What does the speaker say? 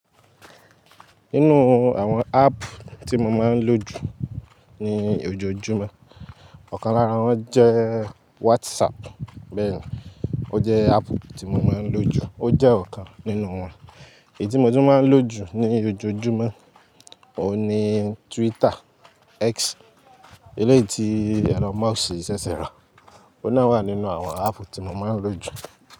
Nínú àwọn app tí mo máa ń lò jù ní ojoojúmọ́, ọ̀kan lára wọn jẹ́ WhatsApp. Bẹ́ẹ̀ni, ó jẹ́ app tí mo máa ń lò jù. Ó jẹ́ ọ̀kan nínú wọn. Èyí tí mo tún máa ń lò jù ní ojoojúmọ́, òun ni Twitter, X, eléyìí tí Elon Musk ṣẹ̀ṣẹ̀ rà. Ó náà wà nínú àwọn app tí mo máa ń lò jù.